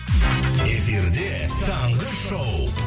эфирде таңғы шоу